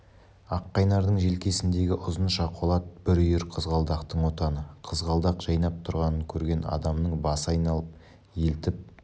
аққайнардың желкесіндегі ұзынша қолат бір үйір қызғалдақтың отаны қызғалдақ жайнап тұрған көрген адамның басы айналып елтіп